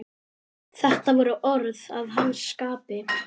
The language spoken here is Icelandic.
Þetta voru orð að hans skapi.